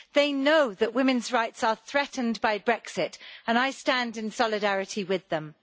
They know that women's rights are threatened by Brexit, and I stand in solidarity with them.